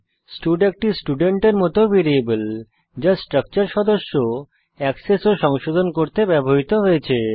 stud একটি স্টুডেন্টের মত ভ্যারিয়েবল যা স্ট্রাকচার সদস্য অ্যাক্সেস ও সংশোধন করতে ব্যবহৃত হয়েছে